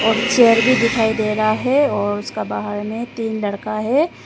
और चेयर भी दिखाई दे रहा है और उसका बाहर में तीन लड़का है।